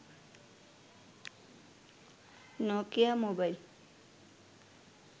Nokia mobile